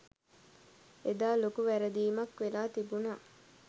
එදා ලොකු වැරදීමක් වෙලා තිබුණා.